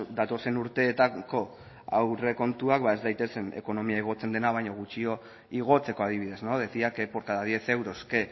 datozen urteetako aurrekontuak ez daitezen ekonomia igotzen dena baino gutxiago igotzeko adibidez decía que por cada diez euros que